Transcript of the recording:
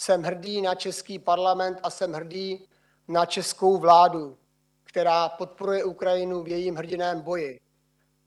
Jsem hrdý na český Parlament a jsem hrdý na českou vládu, která podporuje Ukrajinu v jejím hrdinném boji.